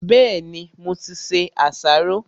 Bẹ́ẹ̀ni, mo ti se àsáró.